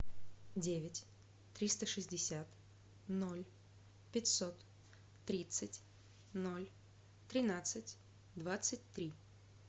девять триста шестьдесят ноль пятьсот тридцать ноль тринадцать двадцать три